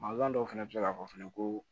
Mankan dɔw fana bɛ se k'a fɔ fɛnɛ ko